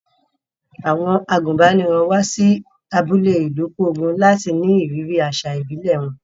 Àwọn àgùnbánirọ̀ wá sí abúlé Ilukogun láti ní ìrírí àṣà ìbílẹ̀ wọn.